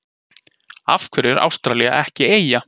Af hverju er Ástralía ekki eyja?